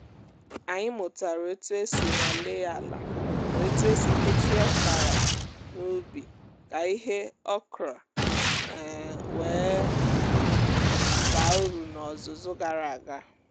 anyị mụtara otu esi nwalee ala na otu esi kechie ọkara n’ubi ka ihe okra um wee um baa uru n’ọzụzụ gara aga